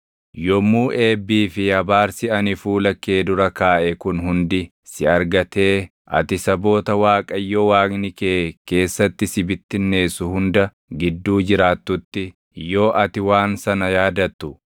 Yommuu eebbii fi abaarsi ani fuula kee dura kaaʼe kun hundi si argatee ati saboota Waaqayyo Waaqni kee keessatti si bittinneessu hunda gidduu jiraatutti yoo ati waan sana yaadattu,